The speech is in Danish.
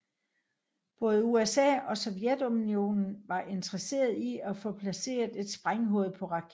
Både USA og Sovjetunionen var interesseret i at få placeret et sprænghoved på raketten